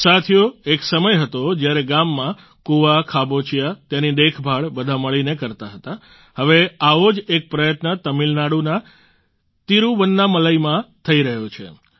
સાથીઓ એક સમય હતો જ્યારે ગામમાં કૂવા ખાબોચિયાં તેની દેખભાળ બધા મળીને કરતાં હતાં હવે આવો જ એક પ્રયત્ન તમિલનાડુના તિરૂવન્નામલાઈમાં થઈ રહ્યો છે